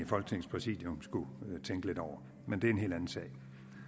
folketingets præsidium skulle tænke lidt over men det er en helt anden sag